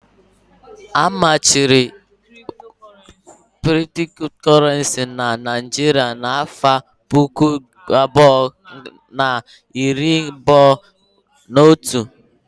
A machiri Kriptokorenci n'Naijiria n'afọ puku abụọ na iri abụọ n'otu